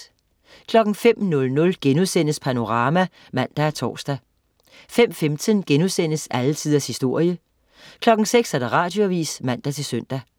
05.00 Panorama* (man og tors) 05.15 Alle tiders historie* 06.00 Radioavis (man-søn)